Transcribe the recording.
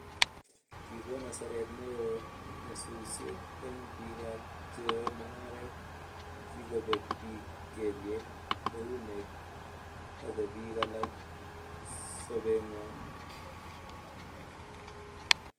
kigoon hasaret ne oo nyasusiet eng bikap cheyoe mungaret, kigobeek biik kelyek, eunek ago biik alak sobengwai